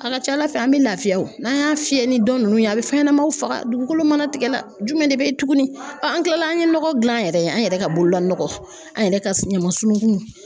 A ka ca ala fɛ an bɛ lafiya o, n'an y'a fiyɛ ni dɔ nunnu ye a bɛ fɛn ɲɛnamaw faga dugukolo mana tigɛ la, jumɛn ne bɛ tugunni? an kila an ye nɔgɔ dilan an yɛrɛ ye, an yɛrɛ ka bolola nɔgɔ an yɛrɛ ka ɲama sununkun.